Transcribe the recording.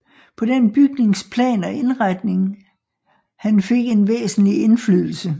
På den bygnings plan og indretning han fik en væsentlig indflydelse